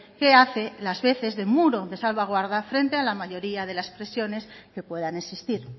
que hace las veces de muro de salvaguarda frente a la mayoría de las presiones que puedan existir